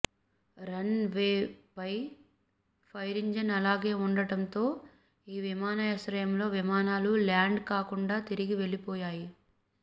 run వేపై fire engine అలాగే ఉండడంతో ఈ విమానాశ్రయంలో విమానాలు ల్యాండ్ కాకుండా తిరిగి వెళ్లిపోయాయి